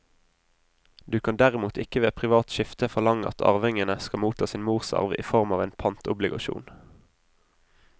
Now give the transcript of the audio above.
Du kan derimot ikke ved privat skifte forlange at arvingene skal motta sin morsarv i form av en pantobligasjon.